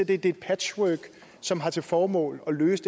det er et patchwork som har til formål at løse